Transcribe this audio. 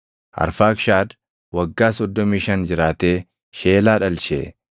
Arfaakshad waggaa 35 jiraatee Sheelaa dhalche.